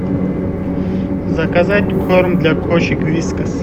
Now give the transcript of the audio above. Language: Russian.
заказать корм для кошек вискас